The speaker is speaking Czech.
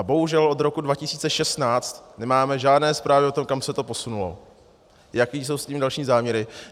A bohužel od roku 2016 nemáme žádné zprávy o tom, kam se to posunulo, jaké jsou s tím další záměry.